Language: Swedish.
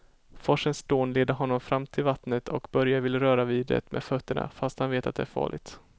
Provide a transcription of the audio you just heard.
Forsens dån leder honom fram till vattnet och Börje vill röra vid det med fötterna, fast han vet att det är farligt.